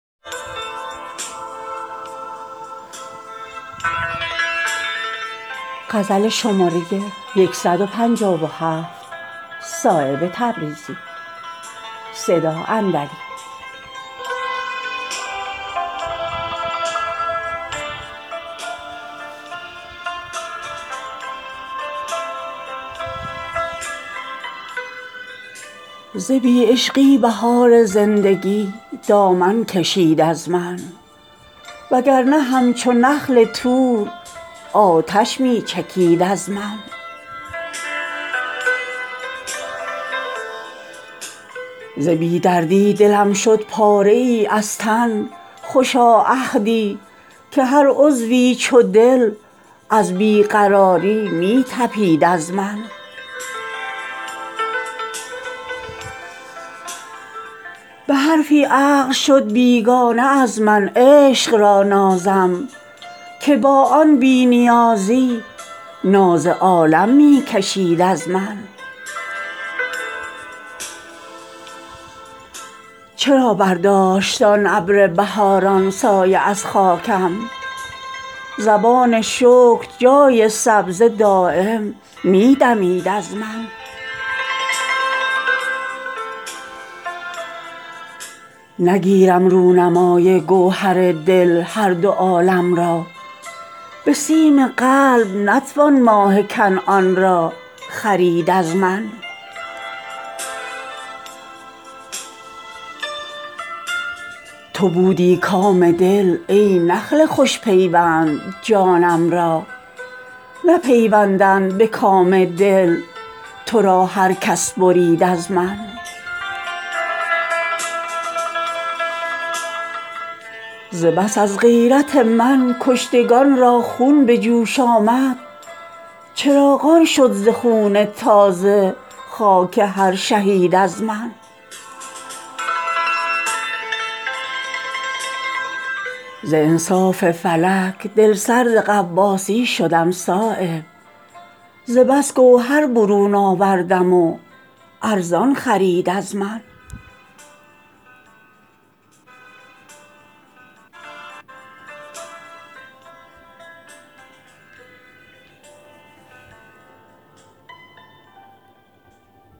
ز بی عشقی بهار زندگی دامن کشید از من وگرنه همچو نخل طور آتش می چکید از من ز بی دردی دلم شد پاره ای از تن خوشا عهدی که هر عضوی چو دل از بی قراری می تپید از من به حرفی عقل شد بیگانه از من عشق را نازم که با آن بی نیازی ناز عالم می کشید از من چرا برداشت آن ابر بهاران سایه از خاکم زبان شکر جای سبزه دایم می دمید از من شلاین تر ز خون ناحقم در هر چه آویزم به زور دست نتوان دامن الفت کشید از من نظربازان نمی باشند بی هنگامه چون مجنون غزالان رام من گشتند اگر لیلی رمید از من ز بی برگی به کار چشم زخم باغ می آیم مباش ای بوستان پیرا به کلی ناامید از من نگیرم رونمای گوهر دل هر دو عالم را به سیم قلب نتوان ماه کنعان را خرید از من نوای بیخودان داروی بیهوشی بود دل را دگر خود را ندید آن کس که فریادی شنید از من تو بودی کام دل ای نخل خوش پیوند جانم را نپیوندد به کام دل ترا هر کس برید از من به خرج برق آفت رفت یکسر دانه های من نگردید آسیایی در شکستن روسفید از من ز بس از غیرت من کشتگان را خون به جوش آمد چراغان شد ز خون تازه خاک هر شهید از من ز انصاف فلک دلسرد غواصی شدم صایب ز بس گوهر برون آوردم و ارزان خرید از من